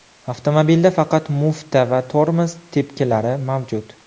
Avtomobilda faqat mufta va tormoz tepkilari mavjud.